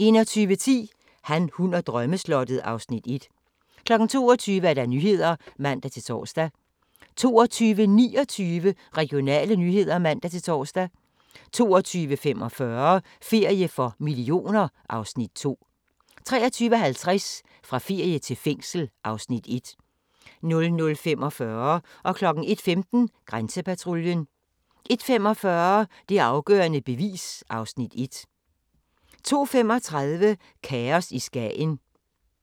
21:10: Han, hun og drømmeslottet (Afs. 1) 22:00: Nyhederne (man-tor) 22:29: Regionale nyheder (man-tor) 22:45: Ferie for millioner (Afs. 2) 23:50: Fra ferie til fængsel (Afs. 1) 00:45: Grænsepatruljen 01:15: Grænsepatruljen 01:45: Det afgørende bevis (Afs. 1) 02:35: Kaos i Skagen